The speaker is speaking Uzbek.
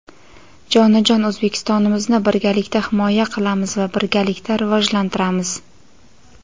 Jonajon O‘zbekistonimizni birgalikda himoya qilamiz va birgalikda rivojlantiramiz.